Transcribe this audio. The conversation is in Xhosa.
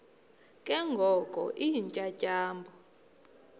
ke ngoko iintyatyambo